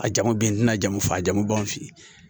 A jamu be n tɛna jɔn f'a ju b'an fe yen